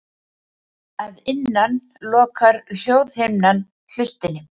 Að innan lokar hljóðhimnan hlustinni.